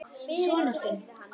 Sonur þinn.